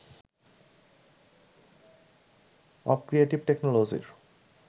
of creative টেকনোলজির